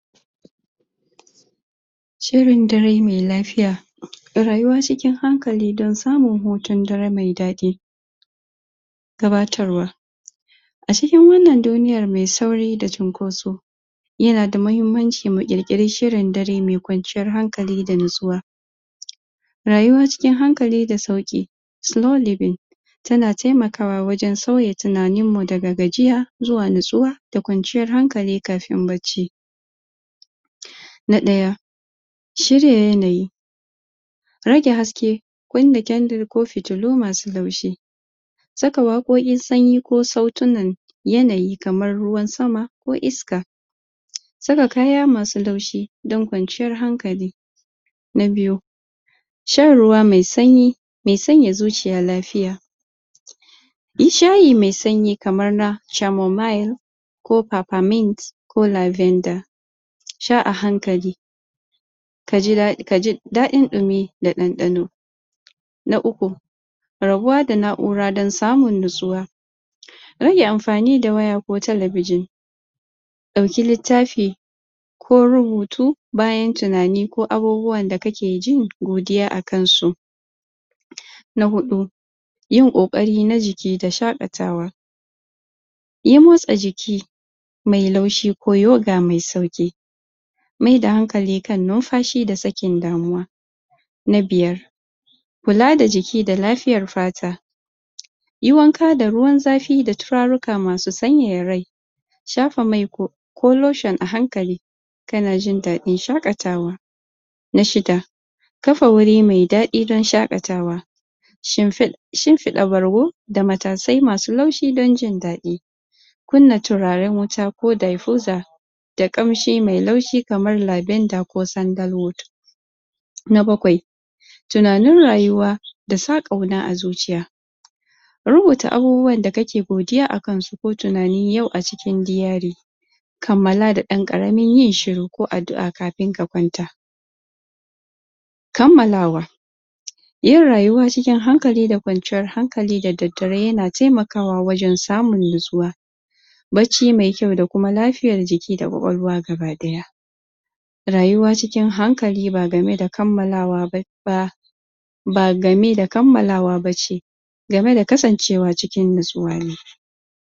Shirin dare mai lafiya. Rayuwa cikin hankali don samun hutun dare mai daɗi. Gabatarwa A cikin wannan duniyar mai sauri da cinkoso ya na da muhimmanci mu ƙir-ƙiri shirin dare mai kwanciyar hankali da natsuwa. Rayuwa cikin hankali da sauƙi slow living ta na taimakawa wajen sauya tunanin mu da gajiya zuwa natsuwa da kwanciyar hankali kafin bacci. Na ɗaya; Shirya yanayi rage haske wanda candle ko fitilu masu laushi. Saka waƙoƙin sanyi ko sautuna. Yanayi kamar ruwan sama ko iska. Saka kaya masu laushi don kwanciyar hankali. Na biyu; Shan ruwa mai sanyi mai sanya zuciya lafiya. Yin shayi mai sanyi kamar na camomail ko papamint, ko lavenda. Sha a hankali ka ji daɗi, ka ji daɗin ɗimi da ɗanɗano. Na uku; Rabuwa da na'ura don samun natsuwa rage amfani da waya ko talabijin. Ɗauki littafi ko rubutu bayan tunani ko abubuwan da kake jin godiya akan su. Na huɗu; Yin ƙoƙari na jiki ko shaƙatawa, yi motsa jiki mai laushi ko yago mai sauƙi. Mai da hankalin kan numfashi da sakin damuwa. Na biyar; Kula da jiki da lafiyar fata. Yi wanka da ruwan zafi da turaruka masu sanyaya rai. Shafa mai ko ko lotion a hankali ka na jin daɗin shaƙatawa. Na shida; Tafa wuri mai daɗi don shaƙatawa. Shinfiɗa bargo da matasai masu laushi don jin daɗi. Kunna turaren wuta ko diffuser da ƙamshi mai laushi kamae lavenda ko sandal oud. Na bakwai; Tunanin rayuwa da sa ƙauna a zuciya. Rubuta abubuwan da kake godiya akan su ko tunani yau a cikin diary. Kammala da ɗan ƙaramin yin shiru ko addu'a kafin ka kwanta. Kammalawa Yin rayuwa cikin hankali da kwanciyar hankali da daddare ya na taimakawa wajen samun natsuwa, bacci mai kyau da kuma lafiyan jiki da ƙwa-ƙwalwa gaba ɗaya. Rayuwa cikin hankali ba game da kammalawa ba ba game da kammalawa ba ce game da kasancewa cikin natsuwa.